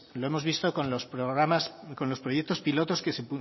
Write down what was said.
lo hemos visto con los proyectos pilotos que se